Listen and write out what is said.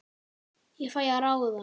Ég fæ að ráða.